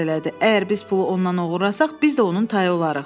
Əgər biz pulu ondan oğurlasaq, biz də onun tayı olarıq.